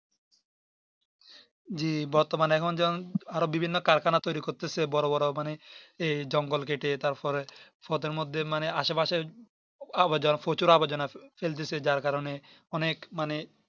জি বর্তমানে এখন আরো বিভিন্ন কারখানা তৌরি করতেছে বরো বরোমানে এই জঙ্গল কেটে তারপরে ওদের মধ্যে মানে আশেপাশে প্রচুর আবর্জনা ফেলতেছে যার কারণে অনেক মানে